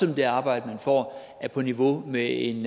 om det arbejde man får er på niveau med en